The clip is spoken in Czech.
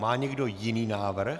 Má někdo jiný návrh?